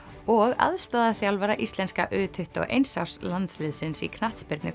og aðstoðarþjálfara íslenska u tuttugu og eins árs landsliðsins í knattspyrnu